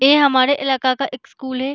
ये हमारे इलाका का एक स्कूल है।